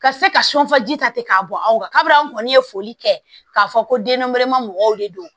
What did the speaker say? Ka se ka sɔn faji ta ten k'a bɔ anw ka baaraw kɔni ye foli kɛ k'a fɔ ko den nɛrɛma mɔgɔw de don